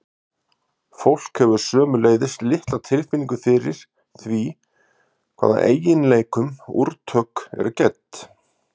fólk hefur sömuleiðis litla tilfinningu fyrir því hvaða eiginleikum úrtök eru gædd